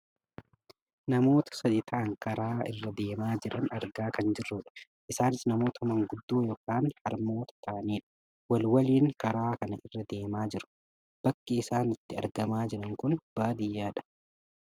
namoota sadi ta'anii karaa irra deemaa jiran argaa kan jirrudha. isaani namoota maanguddoo yookaan harmoota ta'anidha. wal waliin karaa ka irra deemaa jiru. bakki isaan itti argamaa jiran kun ammoo baadiyyaadha.